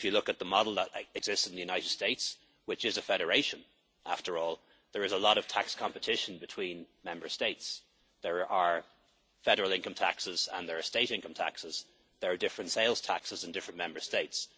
If you look at the model that exists in the United States, which is a federation after all, there is a lot of tax competition between Member States. There are federal income taxes and there are state income taxes. There are different sales taxes in different Member States.